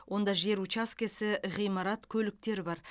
онда жер учаскесі ғимарат көліктер бар